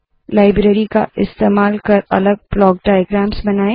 library का इस्तेमाल कर अलग ब्लाक डाइग्राम्स बनाए